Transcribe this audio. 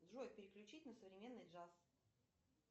джой переключить на современный джаз